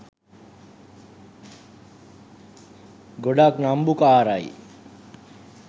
ගොඩක් නම්බුකාරයි.